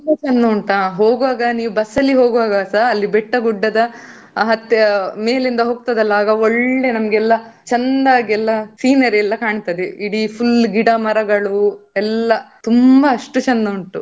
ನೋಡ್ಲಿಕ್ಕೆ ತುಂಬಾ ಚೆಂದ ಉಂಟಾ ಹೋಗ್ವಾಗ ನೀವು bus ಅಲ್ಲಿ ಹೋಗ್ವಾಗಸ ಬೆಟ್ಟ ಗುಡ್ಡದ ಹತ್ತಿ ಮೇಲಿಂದ ಹೋಗ್ತದಲ್ಲ, ಆಗ ಒಳ್ಳೆ ನಮ್ಗೆಲ್ಲಾ ಚೆನ್ನಾಗಿ ಎಲ್ಲಾ scenery ಎಲ್ಲಾ ಕಾಣ್ತದೆ ಇಡೀ full ಗಿಡ ಮರಗಳು. ಎಲ್ಲಾ ತುಂಬಾ.